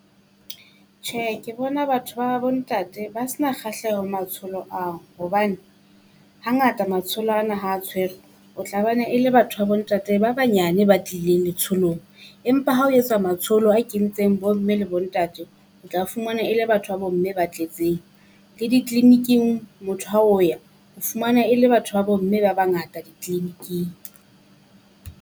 Tjhe ke bona batho ba bo ntate ba se na kgahleho ho matsholo ao hobane, hangata matsholo ana ha tshwere o tla bana le batho ba bo ntate ba banyane ba tlileng letsholong. Empa ya ha o etswa matsholo a kentseng bo mme le bo ntate. O tla fumana e le batho ba bo mme ba tletseng, le di-clinic-ing motho ha o ya o fumana e le batho ba bo mme ba bangata di-clinic-ing.